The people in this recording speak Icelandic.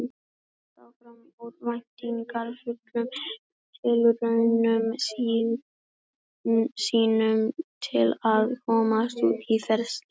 Flugan hélt áfram örvæntingarfullum tilraunum sínum til að komast út í frelsið.